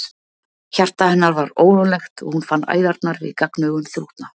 Hjarta hennar var órólegt og hún fann æðarnar við gagnaugun þrútna.